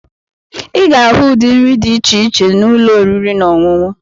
Ị ga-ahụ ụdị nri dị iche iche na ụlọ oriri na ọṅụṅụ.